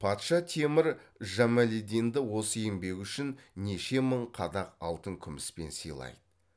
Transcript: патша темір жамалиддинді осы еңбегі үшін неше мың қадақ алтын күміспен сыйлайды